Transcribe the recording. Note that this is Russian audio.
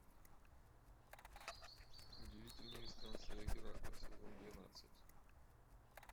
удивительные странствия геракла сезон двенадцать